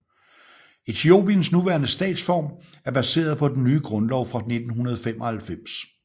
Etiopiens nuværende statsform er baseret på den nye grundlov fra 1995